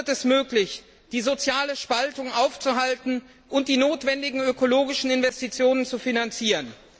Erst dann wird es möglich, die soziale Spaltung aufzuhalten und die notwendigen ökologischen Investitionen zu finanzieren.